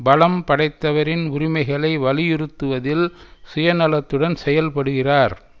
பலம்படைத்தவரின் உரிமைகளை வலியுறுத்துவதில் சுயநலத்துடன் செயல்படுகிறார்